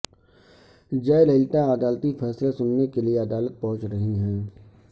جے للیتا عدالتی فیصلہ سننے کے لیے عدالت پہنچ رہی ہیں